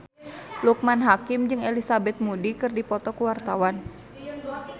Loekman Hakim jeung Elizabeth Moody keur dipoto ku wartawan